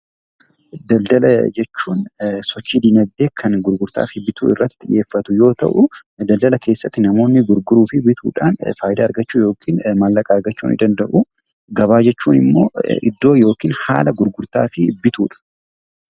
Daldala jechuun sochii dinagdee kan gurgurtaa fi bituu irratti xiyyeeffatu yoo ta'u, daldala keessatti namoonni gurguruu fi bituudhaan faayidaa argachuu yookiin maallaqa argachuu ni danda'u. Gabaa jechuun immoo iddoo yookiin haala gurgurtaa fi bituudha.